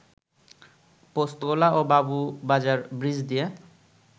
পোস্তগোলা ও বাবুবাজার ব্রিজ দিয়ে